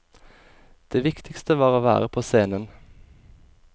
Det viktigste var å være på scenen.